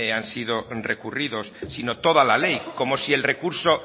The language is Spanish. han sido recurridos sino toda la ley como si el recurso